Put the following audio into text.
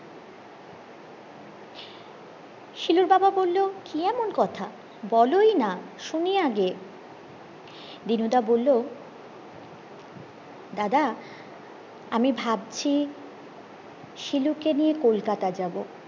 শিলুর বাবা বললো কি কেমন কথা বলি না শুনি আগে দিনুদা বললো দাদা আমি ভাবছি শিলুকে নিয়ে কলকাতা যাবো